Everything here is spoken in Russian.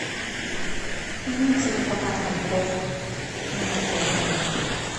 имеется ли прокат коньков на катке в отеле